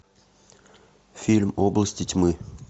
фильм области тьмы